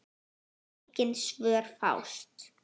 Engin svör fást.